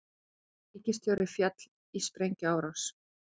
Ríkisstjóri féll í sprengjuárás